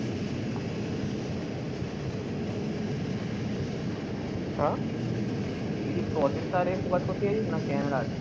তুই কি processor এ focus করতে চাইছিস না camera?